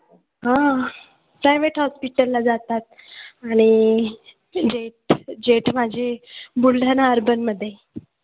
हां privet hospital ला जातात आणि जेठ जेठ माझे बुलढाणा urban मध्ये